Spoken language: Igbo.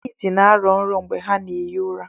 Ndị ịsị na-arọ nrọ mgbe ha na-ehi ụra.